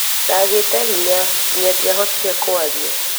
Ndagĩte hinya, nginya ndiahotire kwaria